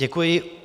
Děkuji.